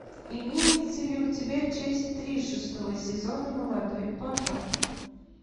имеется ли у тебя часть три шестого сезона молодой папа